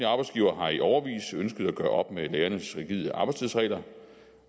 arbejdsgivere har i årevis ønsket at gøre op med lærernes rigide arbejdstidsregler